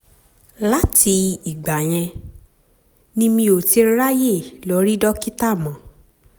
láti um ìgbà yẹn ni mi ò ti um ráyè lọ rí dókítà mọ́